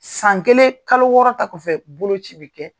San kelen kalo wɔɔrɔ ta kɔfɛ boloci bi kɛ.